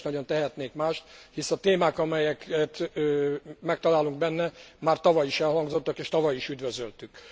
Nem is nagyon tehetnék mást, hisz a témák, amelyeket megtalálunk benne, már tavaly is elhangzottak, és tavaly is üdvözöltük.